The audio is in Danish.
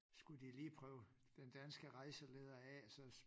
Skulle de lige prøve den danske rejseleder af så